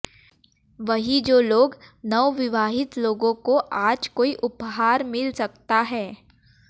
वहीं जो लोग नवविवाहित लोगों को आज कोई उपहार मिल सकता है